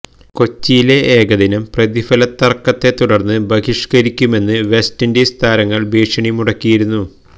കൊച്ചിയിലെ ഏകദിനം പ്രതിഫല തർക്കത്തെ തുടർന്ന് ബഹിഷ്കരിക്കുമെന്ന് വെസ്റ്റ് ഇൻഡീസ് താരങ്ങൾ ഭീഷണി മുടക്കിയിരുന്നു